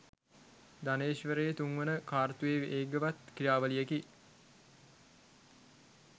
ධනේශ්වරයේ තුන්වන කාර්තුවේ වේගවත් ක්‍රියාවලියකි.